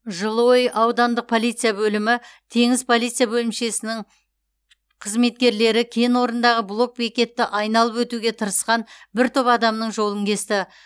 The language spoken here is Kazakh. жылыой аудандық полиция бөлімі теңіз полиция бөлімшесінің қызметкерлері кен орнындағы блок бекетті айналып өтуге тырысқан бір топ адамның жолын кесті